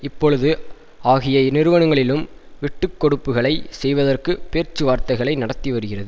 இப்பொழுது ஆகிய நிறுவனங்களிலும் விட்டுக்கொடுப்புகளை செய்வதற்கு பேச்சுவார்தைதகளை நடத்திவருகிறது